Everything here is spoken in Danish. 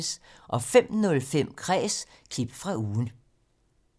05:05: Kræs – klip fra ugen